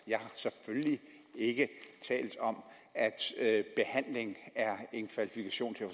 jeg har selvfølgelig ikke talt om at behandling er en kvalifikation til at